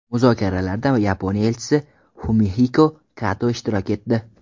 Muzokaralarda Yaponiya Elchisi Fumihiko Kato ishtirok etdi.